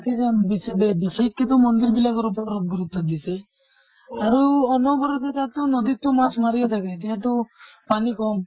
বিশেষকেতো মন্দিৰ ওপৰত গুৰুত্ব দিছে। আৰু অনবৰতে তাতটো নদীত টো মাছ মাৰিয়ে থাকে, এতিয়া টো পানী কম